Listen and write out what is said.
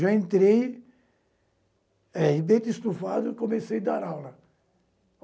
Eu já entrei eh de peito estufado e comecei a dar aula.